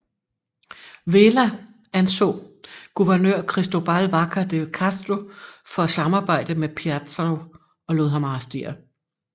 Vela anså guvernør Cristóbal Vaca de Castro for at samarbejde med Piazarro og lod ham arrestere